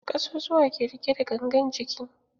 Ƙasusuwa ke riƙe da gangan jiki.